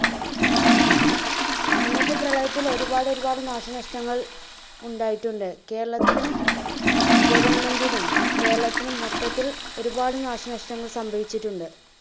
അന്നത്തെ പ്രളയത്തിന് ഒരുപാട് ഒരുപാട് നാശനഷ്ടങ്ങൾ ഉണ്ടായിട്ടുണ്ട് കേരളത്തിന് government നും കേരളത്തിനും മൊത്തത്തിൽ ഒരുപാട് നാശനഷ്ടങ്ങൾ സംഭവിച്ചിട്ടുണ്ട്.